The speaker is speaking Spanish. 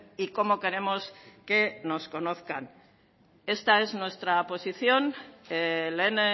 y cómo queremos que nos conozcan esta es nuestra posición lehen